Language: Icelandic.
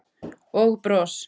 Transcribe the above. Og bros.